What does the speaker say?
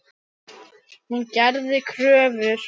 Hún gerði kröfur.